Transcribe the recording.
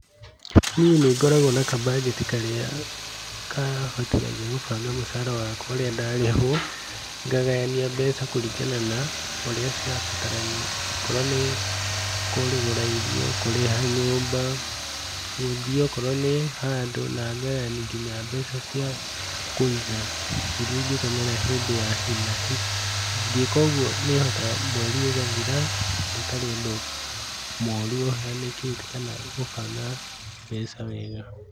Nĩi nĩngoragwo na kabanjeti karĩa kahothagia kũbanga mũcara wakwa wega rĩrĩa ndarĩhwo, ngagayania mbeca kũringana na ũrĩa cirabatarania okorwo nĩ kũgũra irio kũrĩha nyũmba gũthĩe akorwo nĩ handũ na ngaganyania mbeca nginya cia kũiga iria ingĩtũmĩra hĩndĩ ya hi na hi ingĩka ũguo nĩhotaga mwerĩ ũgathira itarĩ na ũndũ mũru ũhanikĩte kana gũnanga mbeca wega.